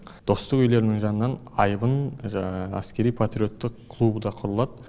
достық үйлерінің жанынан айбын әскери патриоттық клубы да құрылады